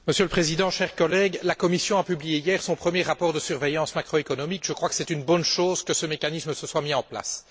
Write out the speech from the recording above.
Monsieur le Président, chers collègues, la Commission a publié hier son premier rapport de surveillance macroéconomique et c'est une bonne chose que ce mécanisme se soit mis en place.